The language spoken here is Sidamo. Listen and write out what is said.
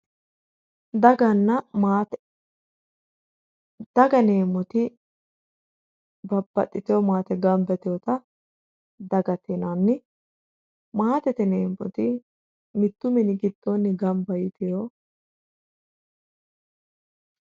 daganna maate daga yineemmoti babbaxitewo maate gamaba yitewoota dagate yinanni maatete yineemmoti mitttu mini gidoonni gamba yiteewo